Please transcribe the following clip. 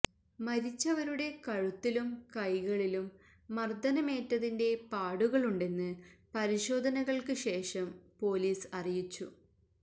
മരിച്ചവരുടെ കഴുത്തിലും കൈളിലും മര്ദനമേറ്റതിന്റെ പാടുകളുണ്ടെന്ന് പരിശോധനകള്ക്ക് ശേഷം പൊലീസ് അറിയിച്ചു